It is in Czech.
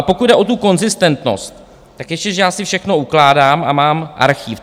A pokud jde o tu konzistentnost, tak ještě že já si všechno ukládám a mám archiv.